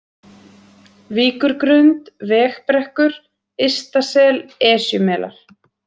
Víkurgrund, Vegbrekkur, Ystasel, Esjumelar